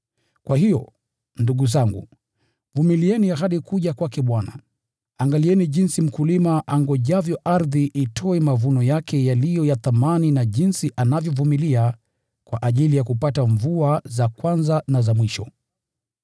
Kwa hiyo, ndugu zangu, vumilieni hadi kuja kwake Bwana. Angalieni jinsi mkulima angojavyo ardhi itoe mavuno yake yaliyo ya thamani na jinsi anavyovumilia kwa ajili ya kupata mvua za kwanza na za mwisho.